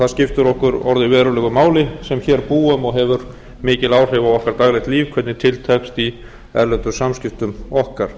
skiptir okkur orðið verulegu máli sem hér búum og hefur mikil áhrif á okkar daglegt líf hvernig til tekst í erlendum samskiptum okkar